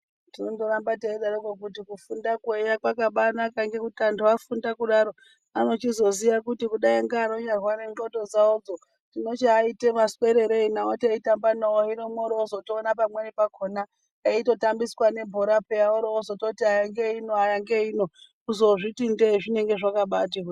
Tinondoramba teidaroko kuti kufundakwo eya kwakabaanaka ngekuti antu afunda kudaro anochizoziya kuti kudai ngeanonyarware ndxondo dzawodzo tinochiate maswererei nawo teitamba nawo hino mworo mwootozoona pamweni pakhona eitotambiswa nebhora pheya oro otozototi aya ngeeino aya ngeeino kuzozviti ndee zvinenge zvakabaatoti hwee.